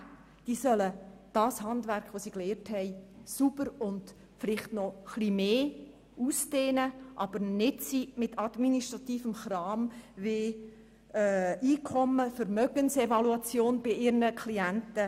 Sie soll das gelernte Handwerk sauber fortsetzen oder dieses sogar noch etwas ausdehnen, nicht aber Zeit mit administrativem Kram verbringen wie der Einkommens- und Vermögensevaluation ihrer Klienten.